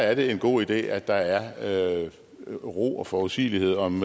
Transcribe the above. er det en god idé at der er er ro og forudsigelighed om